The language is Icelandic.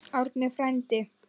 Árni frændi!